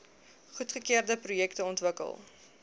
goedgekeurde projekte ontwikkel